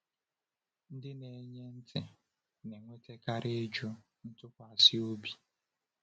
Ndị na-enye ntị na-enwetakarị ịjụ ntụkwasị obi.